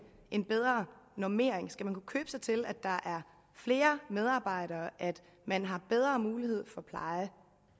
en bedre normering skal man kunne købe sig til at der er flere medarbejdere og at man har bedre mulighed for pleje